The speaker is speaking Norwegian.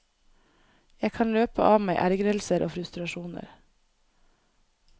Jeg kan løpe av meg ergrelser og frustrasjoner.